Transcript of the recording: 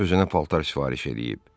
Özünə paltar sifariş eləyib.